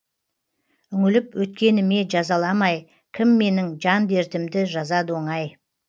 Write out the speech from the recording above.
үңіліп өткеніме жазаламай кім менің жан дертімді жазады оңай